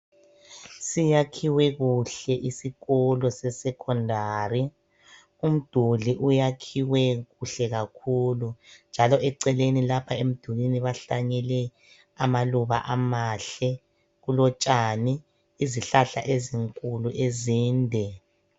Siyakhiwe kuhle isikolo se secondary. Umduli uyakhiwe kuhle kakhulu njalo eceleni lapho emdulini bahlanyele amaluba amahle, kulotshani, izihlahla ezinkulu ezinde.